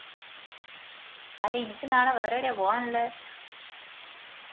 അല്ല ഇനിക്ക് നാളെ വേറെ എടയ പോവ്വാനുള്ളേ